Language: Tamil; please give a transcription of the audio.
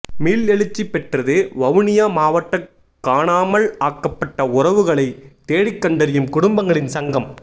மீள்எழுச்சி பெற்றது வவுனியா மாவட்ட காணாமல் ஆக்கப்பட்ட உறவுகளை தேடிக்கண்டறியும் குடும்பங்களின் சங்கம்